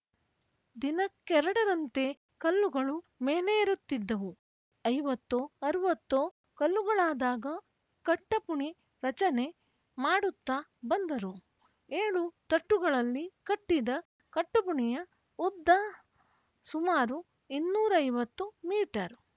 ದಿನಕ್ಕೆರಡರಂತೆ ಕಲ್ಲುಗಳು ಮೇಲೇರುತ್ತಿದ್ದುವು ಐವತ್ತೋ ಅರುವತ್ತೋ ಕಲ್ಲುಗಳಾದಾಗ ಕಟ್ಟಪುಣಿ ರಚನೆ ಮಾಡುತ್ತಾ ಬಂದರು ಏಳು ತಟ್ಟುಗಳಲ್ಲಿ ಕಟ್ಟಿದ ಕಟ್ಟಪುಣಿಯ ಉದ್ದ ಸುಮಾರು ಇನ್ನೂರೈವತ್ತು ಮೀಟರ್‌